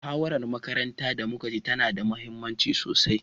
Muhawarar makarantar da muka ci tana da muhimmanci sosai.